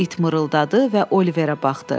İt mırıldadı və Oliverə baxdı.